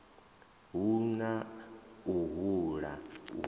hu na u hula u